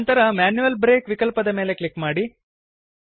ನಂತರ manual break ವಿಕಲ್ಪದ ಮೇಲೆ ಕ್ಲಿಕ್ ಮಾಡಿ